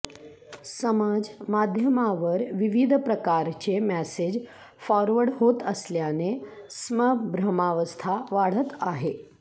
समाज माध्यमावर विविध प्रकारचे मॅसेज फॉरवर्ड होत असल्याने स्मभ्रमावस्था वाढत आहे